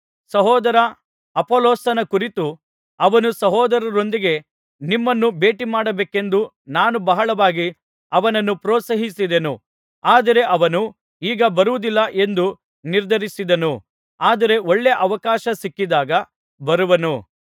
ಸಹೋದರ ಅಪೊಲ್ಲೋಸನ ಕುರಿತು ಅವನು ಸಹೋದರರೊಂದಿಗೆ ನಿಮ್ಮನ್ನು ಭೇಟಿಮಾಡಬೇಕೆಂದು ನಾನು ಬಹಳವಾಗಿ ಅವನನ್ನು ಪ್ರೋತ್ಸಾಹಿಸಿದೆನು ಆದರೆ ಅವನು ಈಗ ಬರುವುದಿಲ್ಲ ಎಂದು ನಿರ್ಧರಿಸಿದನು ಆದರೆ ಒಳ್ಳೆ ಅವಕಾಶ ಸಿಕ್ಕಿದಾಗ ಬರುವನು